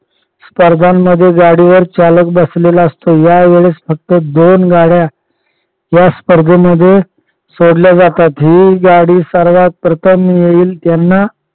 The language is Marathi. स्पर्धांमध्ये गाडीवर चालक बसलेला असतो. या वेळेस फक्त दोन गाड्या या स्पर्धेमध्ये सोडल्या जातात जी गाडी सर्वात प्रथम येईल त्यांना